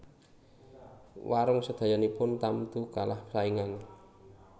Warung sedayanipun tamtu kalah saingan